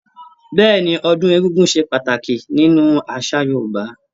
Bẹ́ẹ̀ni, ọdún egúngún ṣe pàtàkì nínú àṣà Yorúbá